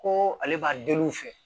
Ko ale b'a deli u fɛ